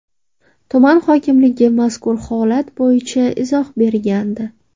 Tuman hokimligi mazkur holat bo‘yicha izoh bergandi .